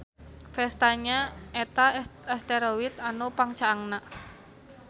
Vesta nya eta asteroid anu pangcaangna.